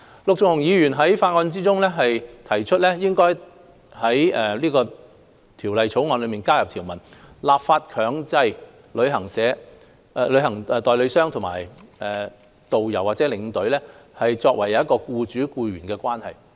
陸頌雄議員在法案委員會中提出，應在《條例草案》加入條文，立法強制旅行代理商與導遊或領隊為僱主僱員關係。